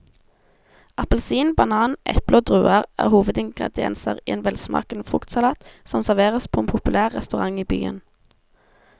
Appelsin, banan, eple og druer er hovedingredienser i en velsmakende fruktsalat som serveres på en populær restaurant i byen.